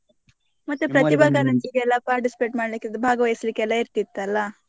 ಮತ್ತೆ ಎಲ್ಲ participate ಮಾಡ್ಲಿಕ್ ಇದ್~ ಭಾಗವಹಿಸ್ಲಿಕ್ಕೆ ಇರ್ತಿತ್ತು ಅಲ್ಲಾ.